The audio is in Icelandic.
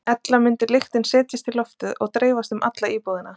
Ella mundi lyktin setjast í loftið og dreifast um alla íbúðina.